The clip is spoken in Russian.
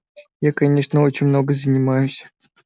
я конечно очень много занимаюсь